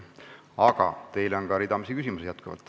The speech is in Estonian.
Aga teile on ka ridamisi küsimusi.